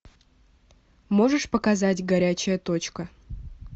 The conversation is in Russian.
можешь показать горячая точка